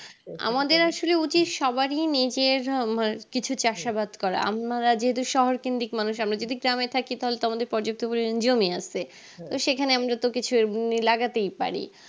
আমাদের আসলে উচিত সবারই নিজের আহ মানে কিছু চাষ আবাদ করা আমরা যেহেতু শহর কেন্দ্রিক মানুষ আমরা যদি গ্রামে থাকি তাহলে তো আমাদের জমি আছে তো সেখানে আমি যত কিছু লাগাতেই পারি